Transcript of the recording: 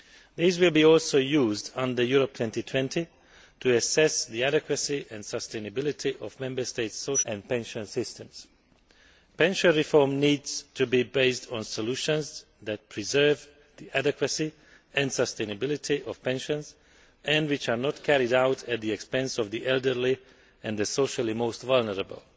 These will also be used under Europe 2020 to assess the adequacy and sustainability of Member States' social protection and pension systems. Pension reform needs to be based on solutions that preserve the adequacy and sustainability of pensions, and which are not carried out at the expense of the elderly and the socially most vulnerable.